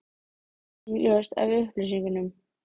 Það varð einnig ljóst af upplýsingum